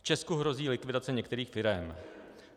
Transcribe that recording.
V Česku hrozí likvidace některých firem.